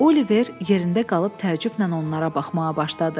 Oliver yerində qalıb təəccüblə onlara baxmağa başladı.